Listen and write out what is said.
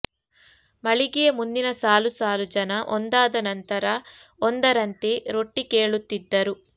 ಮಳಿಗೆಯ ಮುಂದಿನ ಸಾಲು ಸಾಲು ಜನ ಒಂದಾದ ನಂತರ ಒಂದರಂತೆ ರೊಟ್ಟಿ ಕೇಳುತ್ತಿದ್ದರು